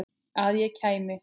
Að ég kæmi?